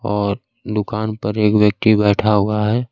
और दुकान पर एक व्यक्ति बैठा हुआ है।